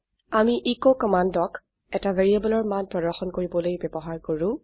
আমি এচ কমান্ডক এটা variableৰ মান প্ৰৰ্দশন কৰিবলৈ ব্যবহাৰ কৰো